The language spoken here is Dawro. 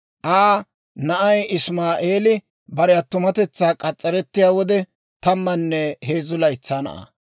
Aa na'ay Isimaa'eeli bare attumatetsaa k'as's'arettiyaa wode, tammanne heezzu laytsaa na'aa.